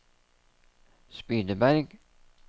Spydeberg